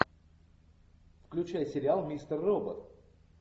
включай сериал мистер робот